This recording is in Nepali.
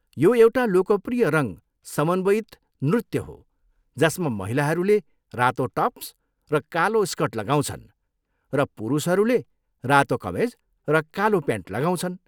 यो एउटा लोकप्रिय रङ समन्वयित नृत्य हो जसमा महिलाहरूले रातो टप्स र कालो स्कर्ट लगाउँछन्, र पुरुषहरूले रातो कमेज र कालो प्यान्ट लगाउँछन्।